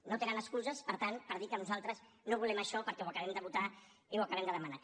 no tenen excuses per tant per dir que nosaltres no volem això perquè ho acabem de votar i ho acabem de demanar